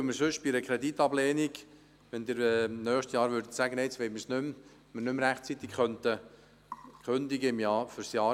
Dies, weil wir im Fall einer Kreditablehnung durch den Rat nicht mehr die Möglichkeit hätten, für das Jahr 2021 rechtzeitig die Kündigung einzureichen.